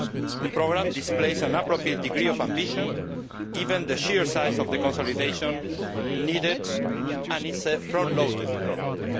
This programme displays an appropriate degree of ambition given the sheer size of the consolidation needed and is a front loaded programme.